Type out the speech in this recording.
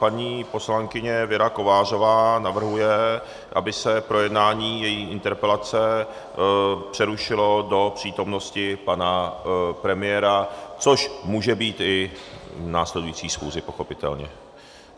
Paní poslankyně Věra Kovářová navrhuje, aby se projednání její interpelace přerušilo do přítomnosti pana premiéra, což může být i v následující schůzi pochopitelně.